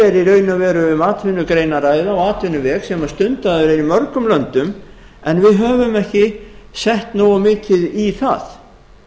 og veru um atvinnugrein að ræða og atvinnuveg sem stundaður er í mörgum löndum en við höfum ekki sett nógu mikið í það